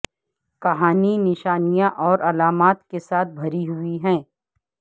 کہانی نشانیاں اور علامات کے ساتھ بھری ہوئی ہے